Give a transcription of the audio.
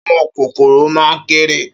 Áwòn kókóró má n kèrè